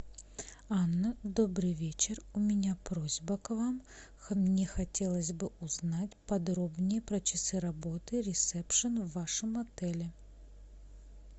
анна добрый вечер у меня просьба к вам мне хотелось бы узнать подробнее про часы работы ресепшн в вашем отеле